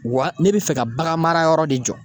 Wa ne bɛ fɛ ka bagan mara yɔrɔ de jɔ.